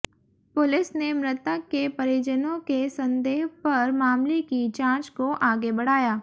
police ने मृतक के परिजनों के संदेह पर मामले की जांच को आगे बढ़ाया